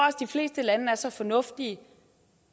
at de fleste lande er så fornuftige